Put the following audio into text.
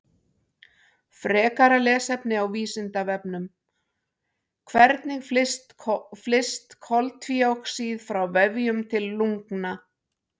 Frekara lesefni á Vísindavefnum: Hvernig flyst koltvíoxíð frá vefjum til lungna?